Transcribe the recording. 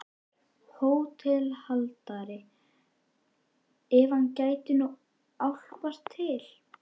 HÓTELHALDARI: Ef hann gæti nú álpast til.